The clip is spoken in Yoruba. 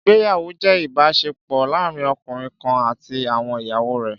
Ìgbéyàwó jẹ́ ìbáṣepọ̀ láàárín ọkùnrin kan àti àwọn ìyàwó rẹ̀